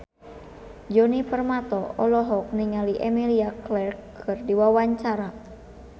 Djoni Permato olohok ningali Emilia Clarke keur diwawancara